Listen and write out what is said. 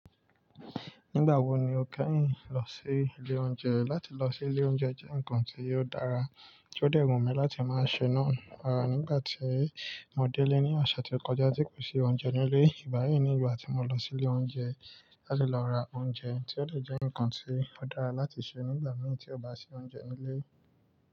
Nígbà wo ni o kẹ́yìn lọ sí ilé oúnjẹ? Láti lọ sí ilé oúnjẹ jẹ́ nǹkan tí ó dára, tó dẹ̀ wùn mi láti máa ṣe náà. Rá, nígbà tí mo délé ní ọ̀sẹ̀ tó kọjá tí kò sí oúnjẹ nílé. Ìgba mii nígbà tí mo lọ sí ilé oúnjẹ láti lọ ra oúnjẹ, tí ó de jẹ́ nǹkan tí ó dára láti ṣe nígbà mìí tí ò bá sí oúnjẹ nílé.